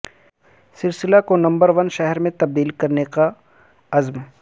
سرسلہ کو number one شہر میں تبدیل کرنے کا عزم